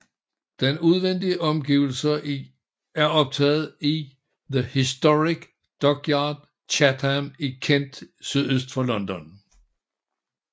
De udvendige omgivelser er optaget i The Historic Dockyard Chatham i Kent sydøst for London